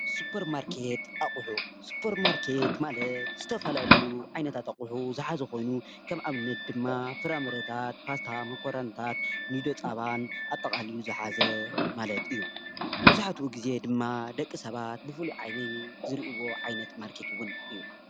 ሱፐር ማርኬት ኣቑሑ፡- ሱፐር ማርኬት ማለት ዝተፈላለዩ ዓይነታት ኣቑሑ ዝሓዘ ኮይኑ ከም ኣብነት ድማ ፍራምረታት፣ ፓስታ፣ መኩረኒታት፣ ኒዶ ፀባን ኣጠቃሊሉ ዝሓዘ ማለት እዩ። መብዛሕቲኡ ግዜ ድማ ደቂ ሰባት ብፉሉይ ዓይኒ ዝርእዎ ዓይነት ማርኬት እውን እዩ።